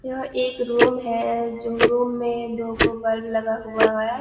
यह एक रूम है जो रूम में दोगो बल्ब लगा हुवा हुवा है।